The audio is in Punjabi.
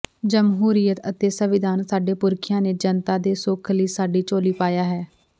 ਜਮਹੂਰੀਅਤ ਅਤੇ ਸੰਵਿਧਾਨ ਸਾਡੇ ਪੁਰਖਿਆਂ ਨੇ ਜਨਤਾ ਦੇ ਸੁੱਖ ਲਈ ਸਾਡੀ ਝੋਲੀ ਪਾਇਆ ਹੈ